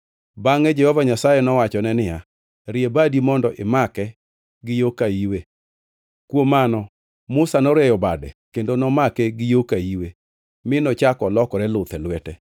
Bangʼe Jehova Nyasaye nowachone niya, “Rie badi mondo imake gi yo ka iwe.” Kuom Mano Musa norieyo bade kendo nomake gi yo ka iwe mi nochako olokore luth e lwete.